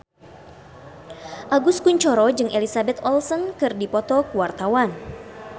Agus Kuncoro jeung Elizabeth Olsen keur dipoto ku wartawan